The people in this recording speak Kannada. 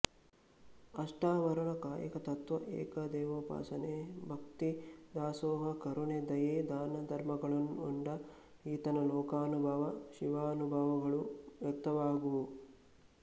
ಅಷ್ಟಾವರಣ ಕಾಯಕ ತತ್ತ್ವ ಏಕದೇವೋಪಾಸನೆ ಭಕ್ತಿ ದಾಸೋಹ ಕರುಣೆ ದಯೆ ದಾನ ಧರ್ಮಗಳನ್ನೊಳಗೊಂಡ ಈತನ ಲೋಕಾನುಭವ ಶಿವಾನುಭವಗಳು ವ್ಯಕ್ತವಾಗುವುವು